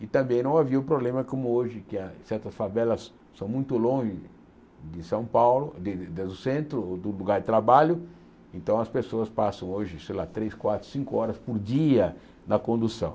E também não havia o problema como hoje, que ah certas favelas são muito longe de São Paulo, de de do centro, ou do lugar de trabalho, então as pessoas passam hoje, sei lá, três, quatro, cinco horas por dia na condução.